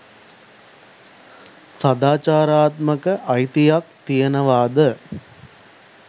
සදාචාරාත්මක අයිතියක් තියෙනවද